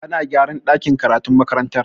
Ana gyaran dakin karatun makarantar.